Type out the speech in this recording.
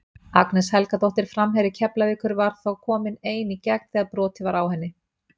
Agnes Helgadóttir framherji Keflavíkur var þá komin ein í gegn þegar brotið var á henni.